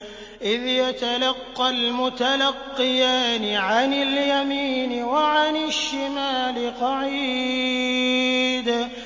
إِذْ يَتَلَقَّى الْمُتَلَقِّيَانِ عَنِ الْيَمِينِ وَعَنِ الشِّمَالِ قَعِيدٌ